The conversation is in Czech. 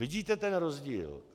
Vidíte ten rozdíl?